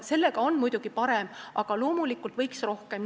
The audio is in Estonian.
Sellega on nüüd muidugi paremini, aga loomulikult võiks teha rohkem.